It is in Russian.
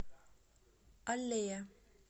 аллея